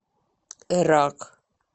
эрак